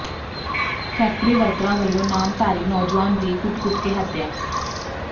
factory ਵਰਕਰਾਂ ਵੱਲੋਂ ਨਾਮਧਾਰੀ ਨੌਜੁਆਨ ਦੀ ਕੁੱਟ ਕੁੱਟ ਕੇ ਹੱਤਿਆ